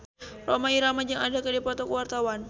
Rhoma Irama jeung Adele keur dipoto ku wartawan